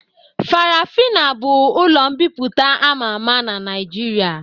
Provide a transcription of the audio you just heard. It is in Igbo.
Farafina bụ ụlọ mbipụta ama ama n'Naijiria